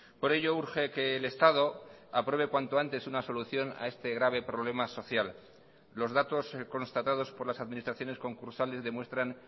por ello urge que el estado apruebe cuanto antes una solución a este grave problema social los datos constatados por las administraciones concursales demuestran